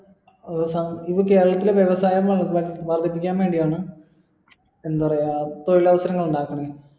ഏർ ഇത് കേരളത്തിലെ വ്യവസായം ഏർ വർധിപ്പിക്കാൻ വേണ്ടിയാണ് എന്താ പറയാ തൊഴിൽ അവസരങ്ങൾ ഇണ്ടാകുന്നെ